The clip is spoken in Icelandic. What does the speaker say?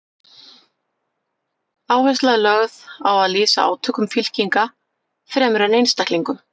Áhersla er lögð á að lýsa átökum fylkinga fremur en einstaklingum.